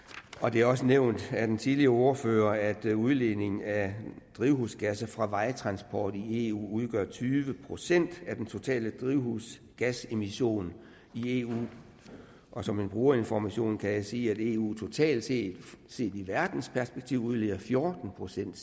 det er også nævnt af den tidligere ordfører at udledningen af drivhusgasser fra vejtransport i eu udgør tyve procent af den totale drivhusgasemission i eu og som man bruger informationen kan jeg sige at eu totalt set set i verdensperspektiv udleder fjorten procent